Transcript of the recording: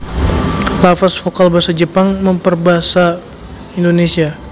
Lafaz vokal basa Jepang mèmper basa Indonésia